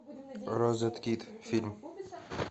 розеткид фильм